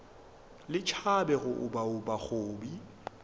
le tšhabe go obaoba kobi